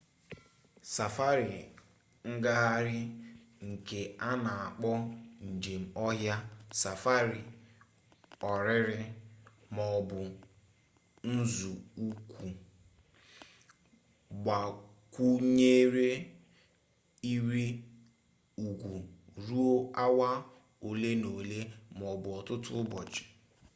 safari ngagharị nke a na-akpọkwa njem ọhịa safari ọrịrị maọbụ nzọụkwụ gbakwunyere ịrị ugwu ruo awa ole na ole maọbụ ọtụtụ ụbọchị